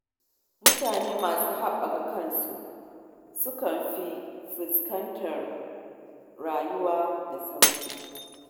Mutanen da ke haɓaka kansu sukan fi fuskantar rayuwa da sauƙi.